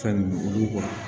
Fɛn ninnu olu kɔ